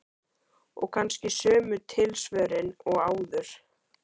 Og kannski sömu tilsvörin og áður.